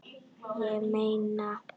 Ég meina